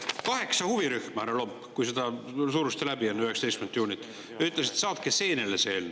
Kaheksa huvirühma, härra Lomp, ütlesid enne 19. juunit, kui te surusite selle läbi, et saatke seenele see eelnõu.